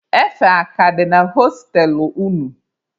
Efe a ka dị na hostelụ unu?